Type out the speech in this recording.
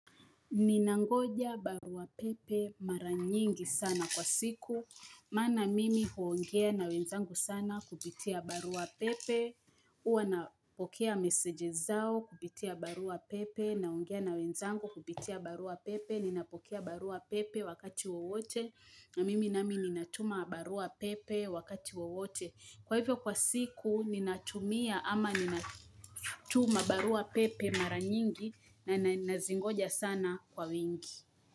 Ninangoja barua pepe mara nyingi sana kwa siku Maana mimi huongea na wenzangu sana kupitia barua pepe Huwa napokea msgs zao kupitia barua pepe naongea na wenzangu kupitia barua pepe Ninapokea barua pepe wakati wowote na mimi nami ninatuma barua pepe wakati wowote Kwa hivyo kwa siku ninatumia ama ninatuma barua pepe mara nyingi nazingoja sana kwa wingii.